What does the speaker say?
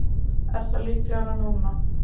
Er það líklegra núna?